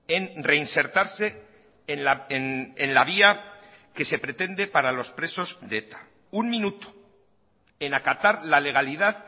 en reinsertarse en la vía que se pretende para los presos de eta un minuto en acatar la legalidad